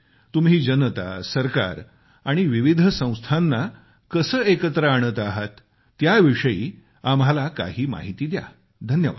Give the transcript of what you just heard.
यासाठी तुम्ही जनता सरकार आणि विविध संस्थांना कसे एकत्र आणत आहात त्याविषयी आम्हाला काही माहिती द्या